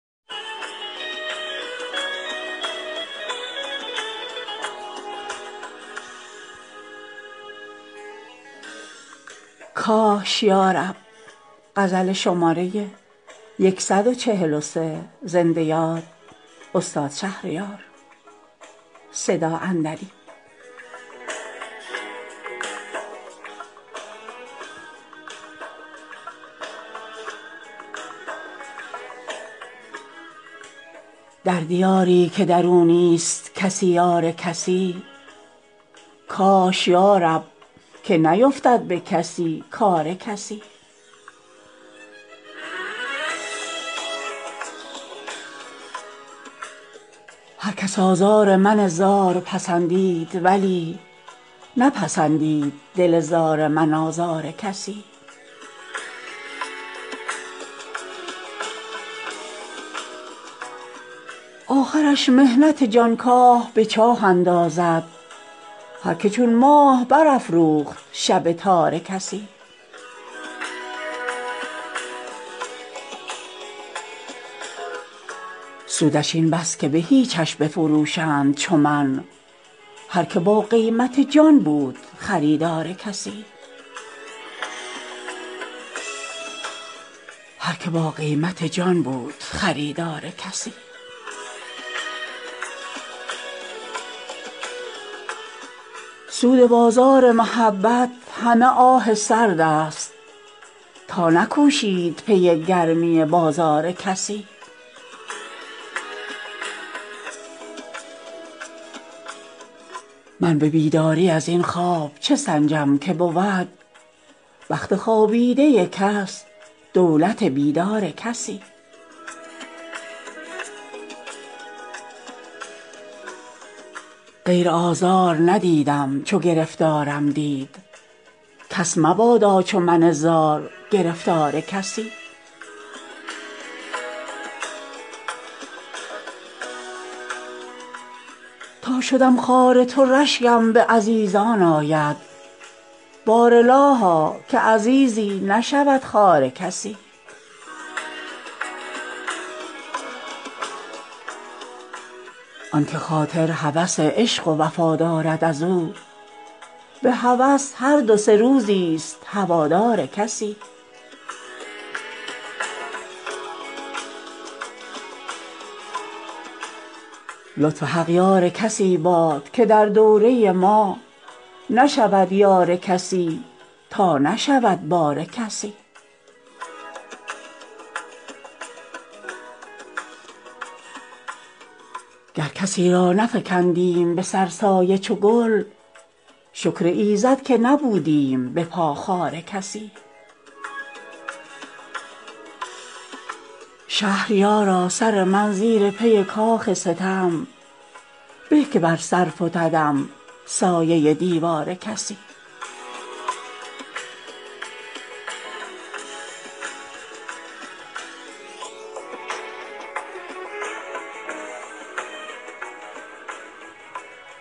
در دیاری که در او نیست کسی یار کسی کاش یارب که نیفتد به کسی کار کسی هر کس آزار من زار پسندید ولی نپسندید دل زار من آزار کسی آخرش محنت جانکاه به چاه اندازد هر که چون ماه برافروخت شب تار کسی سودش این بس که بهیچش بفروشند چو من هر که با قیمت جان بود خریدار کسی سود بازار محبت همه آه سرد است تا نکوشید پی گرمی بازار کسی من به بیداری از این خواب چه سنجم که بود بخت خوابیده کس دولت بیدار کسی غیر آزار ندیدم چو گرفتارم دید کس مبادا چو من زار گرفتار کسی تا شدم خوار تو رشگم به عزیزان آید بارالها که عزیزی نشود خوار کسی آن که خاطر هوس عشق و وفا دارد از او به هوس هر دو سه روزیست هوادار کسی لطف حق یار کسی باد که در دوره ما نشود یار کسی تا نشود بار کسی گر کسی را نفکندیم به سر سایه چو گل شکر ایزد که نبودیم به پا خار کسی شهریارا سر من زیر پی کاخ ستم به که بر سر فتدم سایه دیوار کسی